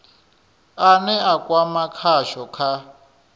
ane a kwama khasho kha